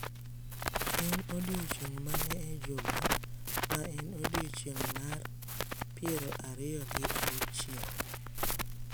En odiechieng’ mane e juma ma en odiechieng’ mar piero ariyo gi auchiel?